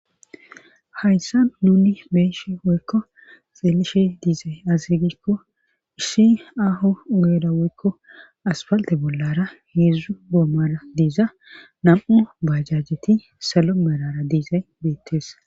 hayssa nuni be'eshi woykko xeelishe diizay aze gikko isshi aho ogeera woykko aspalte bollara heedzdzu goommara diiza nam'u bajajeti salo merara de'iizay beettes